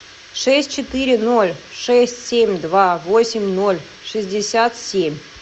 шесть четыре ноль шесть семь два восемь ноль шестьдесят семь